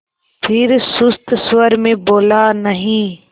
फिर सुस्त स्वर में बोला नहीं